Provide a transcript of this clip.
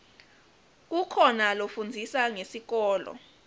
kukhoa lafundzisa ngesikolo